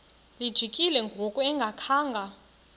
lijikile ngoku engakhanga